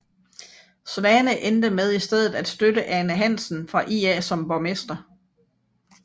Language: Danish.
Svane endte med i stedet at støtte Ane Hansen fra IA som borgmester